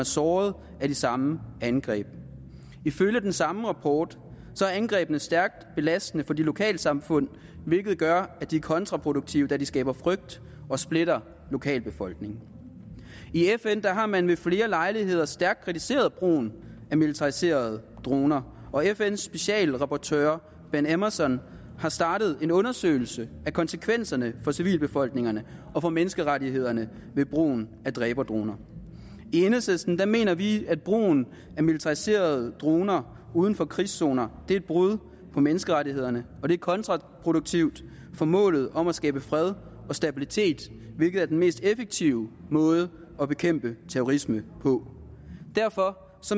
såret i de samme angreb ifølge den samme rapport er angrebene stærkt belastende for lokalsamfundene hvilket gør dem kontraproduktive da de skaber frygt og splitter lokalbefolkningerne i fn har man ved flere lejligheder stærkt kritiseret brugen af militariserede droner og fns special rapporteur ben emmerson har startet en undersøgelse af konsekvenserne for civilbefolkningerne og for menneskerettighederne ved brugen af dræberdroner i enhedslisten mener vi at brugen af militariserede droner uden for krigszoner er et brud på menneskerettighederne og det er kontraproduktivt for målet om at skabe fred og stabilitet hvilket er den mest effektive måde at bekæmpe terrorisme på derfor